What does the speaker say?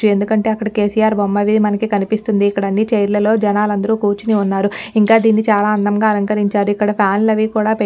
ఎందుకంటే అక్కడ కెసిఆర్ బొమ్మవి మనకి కనిపిస్తుంది ఇక్కడ అన్ని చైర్ లలో జనాలందరూ కుర్చినివున్నారు ఇంక దీన్ని చాలా అందంగా అలంకరించారు ఇక్కడ ఫ్యాన్ లవి కూడా పె --